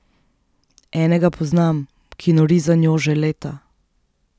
Enega poznam, ki nori za njo že leta.